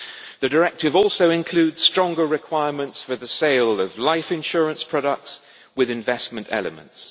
The directive also includes stronger requirements for the sale of life insurance products with investment elements.